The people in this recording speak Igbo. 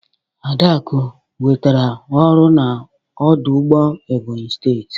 Adaku nwetara ọrụ na ọdụ ụgbọ Ebonyi steti.